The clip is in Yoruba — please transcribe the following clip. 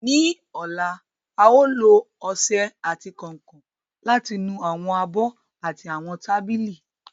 Ní ọ̀la, a ó lo ọṣẹ àti kànkàn láti nu àwọn abọ́ àti àwọn tábìlì